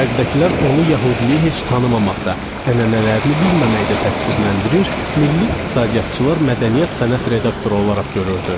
Şərqdəkilər onu yəhudiliyi heç tanımamaqda, ənənələrini bilməməkdə təqsirləndirir, milli iqtisadiyyatçılar mədəniyyət sənət redaktoru olaraq görürdü.